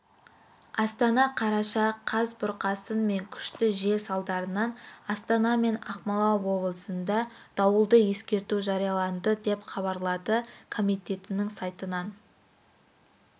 астана қараша қаз бұрқасын мен күшті жел салдарынан астана мен ақмола облысында дауылды ескерту жарияланды деп хабарлады комитетінің сайтынан